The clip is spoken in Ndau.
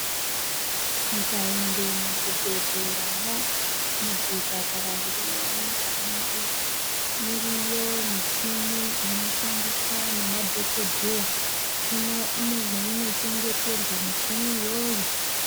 Tikaende muzvibhedhleramwo muzvipatara zviri munyika mwedu iriyo michini inoshandiswa ngemadhokodheya ine mweinochengeterwa michini iyoyo.